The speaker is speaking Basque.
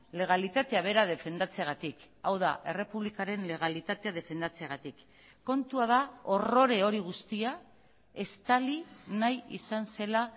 legalitatea bera defendatzeagatik hau da errepublikaren legalitatea defendatzeagatik kontua da horrore hori guztia estali nahi izan zela